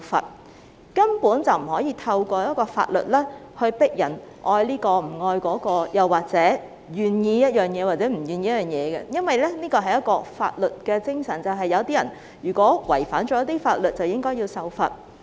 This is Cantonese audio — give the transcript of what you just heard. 我們根本不能透過法律強迫人愛這個、不愛那個，或者令人願意做某件事、不願意做某件事，因為法律的精神就是，有人違反法律便應該受罰。